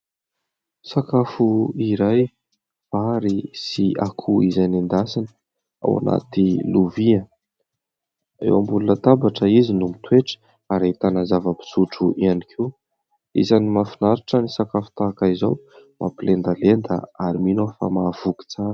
Sakafo iray vary sy akoho izay nendasina ao anaty lovia, eo ambony latabatra izy no mitoetra; ary ahitana zava-pisotro ihany koa. Isany mahafinaritra ny sakafo tahaka izao; mampilendalenda ary mino aho fa mahavoky tsara.